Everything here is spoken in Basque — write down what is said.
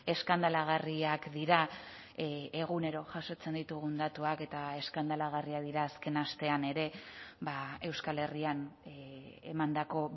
eskandalagarriak dira egunero jasotzen ditugun datuak eta eskandalagarriak dira azken astean ere euskal herrian emandako